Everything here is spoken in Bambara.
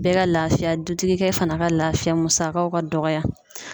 Bɛɛ ka laafiya dutigi fɛnɛ ka laafiya musakaw ka dɔgɔya